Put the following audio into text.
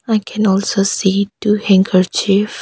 I can also see two handkerchiefs.